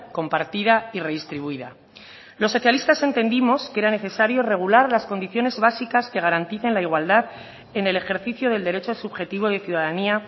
compartida y redistribuida los socialistas entendimos que era necesario regular las condiciones básicas que garanticen la igualdad en el ejercicio del derecho subjetivo de ciudadanía